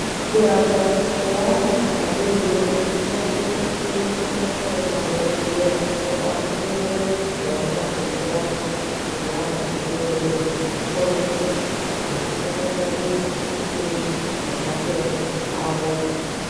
Kurapwa kweana adodori kunosiswe kuitwe ngemadhogodheya akafundire zvona zvekurapa zvevana vadodori. Nekukone kuti vana vanongwarirwa sei nematenda avo.